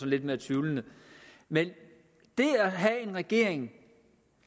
lidt mere tvivlende men det at have en regering